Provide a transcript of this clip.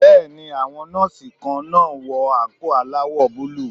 Bẹ́ẹ̀ni, àwọn Nọ́ọ́sì kan náà wọ àǹkóò aláwọ̀ búlúù.